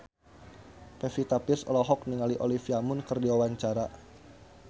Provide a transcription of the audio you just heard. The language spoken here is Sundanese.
Pevita Pearce olohok ningali Olivia Munn keur diwawancara